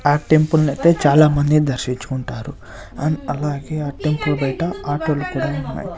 ఆ టెంపుల్ నైతే చాలా మంది దర్శించుకుంటారు అండ్ అలాగే ఆ టెంపుల్ బయట ఆటో లు కూడా ఉన్నాయ్.